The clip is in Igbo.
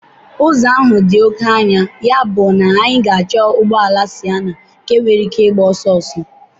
Ụzọ ahụ dị oke anya, yabụ anyị ga-achọ ụgbọ ala Sịenna nke nwere ike ịgba ọsọ ọsọ.